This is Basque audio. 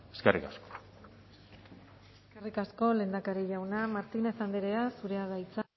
eskerrik asko eskerrik asko lehendakari jauna martínez andrea zurea da hitza